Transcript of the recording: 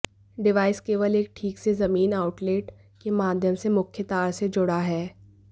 device केवल एक ठीक से जमीन आउटलेट के माध्यम से मुख्य तार से जुड़ा है